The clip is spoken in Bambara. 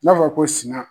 N'a fɔra ko suma